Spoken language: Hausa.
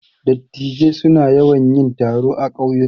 Dattijai suna yawan yin taro a ƙauyuka.